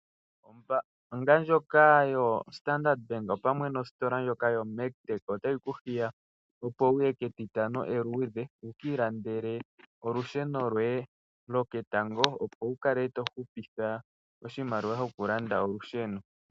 Ombaanga ndjoka yoStandard Bank opamwe nositola ndjoka yo MegaTech otayi kuhiya opo wuye ketitano eluudhe wukii landele olusheno lwoye loketango opo wukale tohupitha oshimaliwa shokulanda olusheno.